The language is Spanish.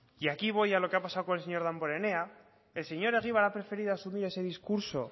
y aquí voy a lo que ha pasado con el señor damborenea el señor egibar ha preferido asumir ese discurso